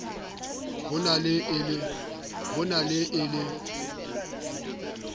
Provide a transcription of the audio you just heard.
ho na le e le